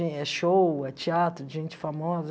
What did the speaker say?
É show, é teatro de gente famosa.